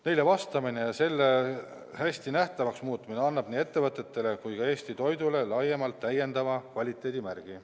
Neile vastamine ja selle hästi nähtavaks muutmine annab nii ettevõtetele kui ka Eesti toidule laiemalt täiendava kvaliteedimärgi.